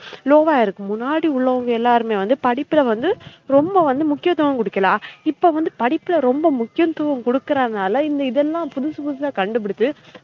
Low வா இருக்கு முன்னாடி உள்ளவுங்க எல்லாருமே வந்து படிப்புல வந்து ரொம்ப வந்து முக்கியத்துவம் குடுக்கல இப்ப வந்து படிப்புல ரொம்ப முக்கியத்துவம் குடுக்கறநால இந்த இதெல்லாம் புதுசு புதுசா கண்டுபிடிச்சு